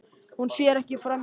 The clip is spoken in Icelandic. Hún sér ekki framan í manninn.